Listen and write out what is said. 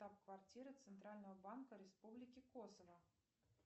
штаб квартира центрального банка республики косово